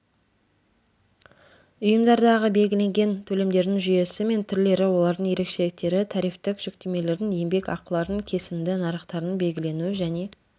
ұйымдардағы белгіленген төлемдердің жүйесі мен түрлері олардың ерекшеліктері тарифтік жүктемелердің еңбек ақылардың кесімді нарықтардың белгіленуі және